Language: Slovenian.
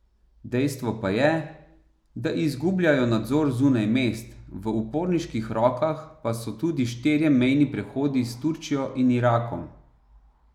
Dejstvo pa je, da izgubljajo nadzor zunaj mest, v uporniških rokah pa so tudi štirje mejni prehodi s Turčijo in Irakom.